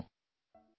ধন্যবাদ